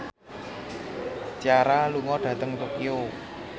Ciara lunga dhateng Tokyo